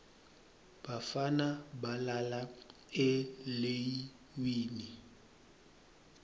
bafana balala eleiwini